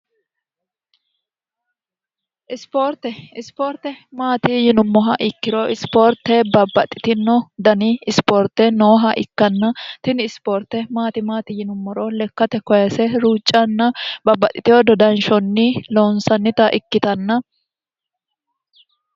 ispoorte isipoorte maati yinummoha ikkiro isipoorte babbaxxitino dani ispoorte nooha ikkanna tini isipoorte maatimaati yinummoro lekkate koyese ruuccanna babbaxxitino dodanshonni loonsannita ikkitanna